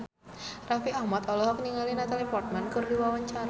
Raffi Ahmad olohok ningali Natalie Portman keur diwawancara